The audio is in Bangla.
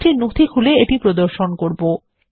আমি একটি নথি খুলে এটি প্রদর্শন করব